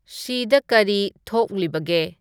ꯁꯤꯗ ꯀꯔꯤ ꯊꯣꯛꯂꯤꯕꯒꯦ